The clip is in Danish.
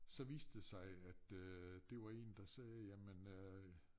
Så viste det sig at øh det var én der sagde jamen øh